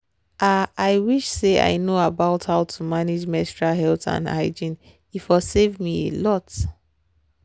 ah i wish say i know about how to manage menstrual health and hygiene e for save me alot.